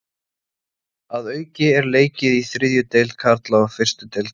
Að auki er leikið í þriðju deild karla og fyrstu deild kvenna.